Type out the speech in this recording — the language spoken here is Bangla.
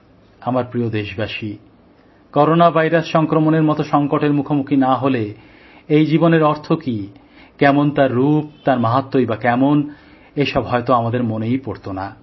আমার প্রিয় দেশবাসী করোনা ভাইরাস সংক্রমণের মত সংকটের মুখোমুখি না হলে হয়তো এই জীবনের অর্থ কি কেমন তার রূপ তার মাহাত্ম্যই বা কেমনএসব হয়তো আমাদের মনেই পড়তো না